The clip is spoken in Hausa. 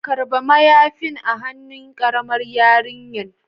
karba mayafin a han'nu karamar yarinyan.